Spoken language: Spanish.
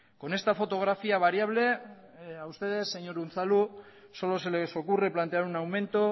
con esta fotografía variable a ustedes señor unzalu solo se les ocurre plantear un aumento